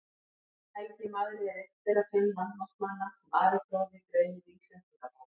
Helgi magri er einn þeirra fimm landnámsmanna sem Ari fróði nafngreinir í Íslendingabók.